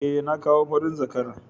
Eh, na kawo farin zakara